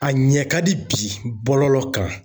A ɲɛ ka di bi bɔlɔlɔ kan